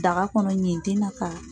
Daga kɔnɔ ɲinti na k'a